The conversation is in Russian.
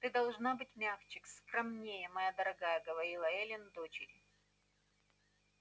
ты должна быть мягче скромнее моя дорогая говорила эллин дочери